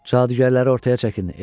Cadugərləri ortaya çəkin.